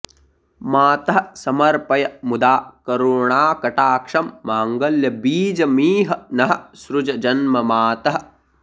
मातः समर्पय मुदा करुणाकटाक्षं माङ्गल्यबीजमिह नः सृज जन्म मातः